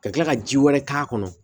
Ka kila ka ji wɛrɛ k'a kɔnɔ